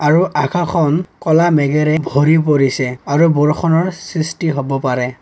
আৰু আকাশখন ক'লা মেঘেৰে ভৰি পৰিছে আৰু বৰষুণৰ সৃষ্টি হ'ব পাৰে।